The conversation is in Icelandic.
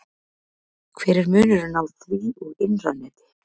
Hver er munurinn á því og innra neti?